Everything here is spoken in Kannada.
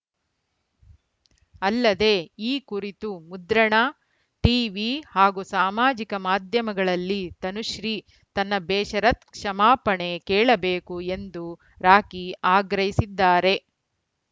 ಅಲ್ಲದೆ ಈ ಕುರಿತು ಮುದ್ರಣ ಟೀವಿ ಹಾಗೂ ಸಾಮಾಜಿಕ ಮಾಧ್ಯಮಗಳಲ್ಲಿ ತನುಶ್ರೀ ತನ್ನ ಬೇಷರತ್‌ ಕ್ಷಮಾಪಣೆ ಕೇಳಬೇಕು ಎಂದು ರಾಖಿ ಆಗ್ರಹಿಸಿದ್ದಾರೆ